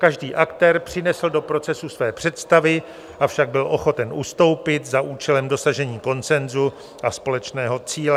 Každý aktér přinesl do procesu své představy, avšak byl ochoten ustoupit za účelem dosažení konsenzu a společného cíle.